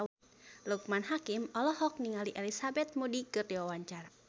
Loekman Hakim olohok ningali Elizabeth Moody keur diwawancara